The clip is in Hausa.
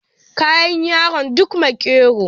Kayan yaron duk makero